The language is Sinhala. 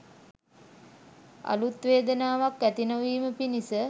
අලුත් වේදනාවක් ඇති නොවීම පිණිස